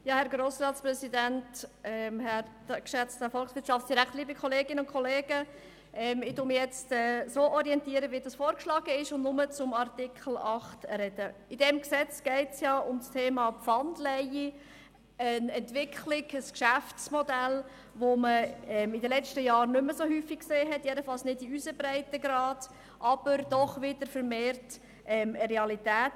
Ich folge also dem vorgeschlagenen Vorgehen und äussere mich jetzt zu ArtikelIm Gesetz geht es ja um das Thema Pfandleihe, ein Geschäftsmodell, das wieder vermehrt Realität ist, auch wenn man es in den letzten Jahren nicht mehr so häufig gesehen hat.